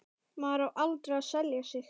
Maður á aldrei að selja sig.